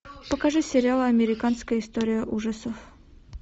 покажи сериал американская история ужасов